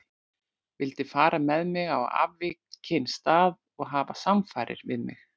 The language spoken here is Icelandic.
Vildi fara með mig á afvikinn stað og hafa samfarir við mig.